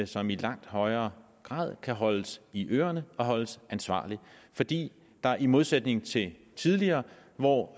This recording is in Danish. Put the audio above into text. som i langt højere grad kan holdes i ørerne og holdes ansvarlig fordi der i modsætning til tidligere hvor